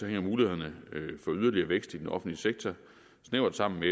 hænger mulighederne for yderligere vækst i den offentlige sektor snævert sammen med